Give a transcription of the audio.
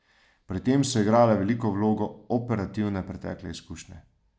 Pri tem so igrale veliko vlogo operativne pretekle izkušnje.